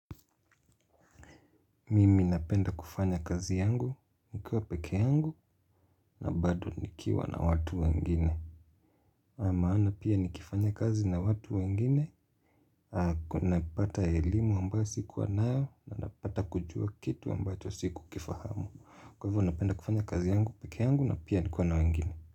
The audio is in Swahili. Mimi napenda kufanya kazi yangu, nikiwa peke yangu, na bado nikiwa na watu wengine. Maana pia nikifanya kazi na watu wengine, napata elimu ambayo sikuwa nayo, na napata kujua kitu ambacho sikukifahamu. Kwa hivyo napenda kufanya kazi yangu, peke yangu, na pia nikiwa na wengine.